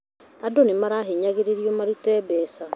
Andu nĩmahinyagĩrĩrio marute mbeca